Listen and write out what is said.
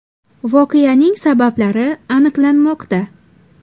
Voqeaning sabablari aniqlanmoqda.